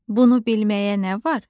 Bunu bilməyə nə var?